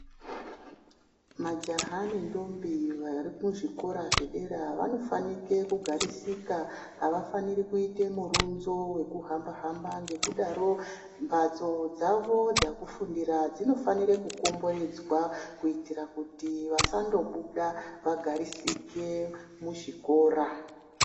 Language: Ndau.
Majaha nendombi vari kuzvikora zvedera vanofanike kugarisika, avafaniri kuite murunzo wekuhamba-hamba .Ngokudaro mbatso dzavo dzekufundira dzinofanire kukomberedzwa, kuitira kuti vasandobuda ,vagarisike muzvikora.